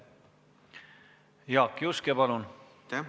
Jaak Juske, palun!